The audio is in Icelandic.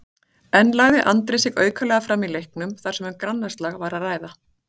En lagði Andri sig aukalega fram í leiknum þar sem um grannaslag var að ræða?